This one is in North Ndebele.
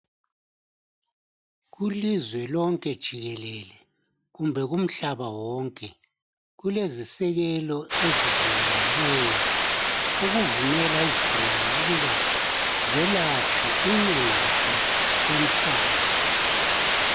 Kulizwe lonke jikelele kumbe emhlabeni wonke kulezisekelo ezivunyelweneyo ezivumela izigulane ukwelatshwa loba kuyiphi indawo emhlabeni.